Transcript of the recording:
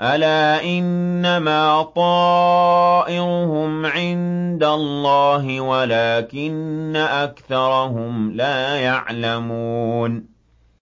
أَلَا إِنَّمَا طَائِرُهُمْ عِندَ اللَّهِ وَلَٰكِنَّ أَكْثَرَهُمْ لَا يَعْلَمُونَ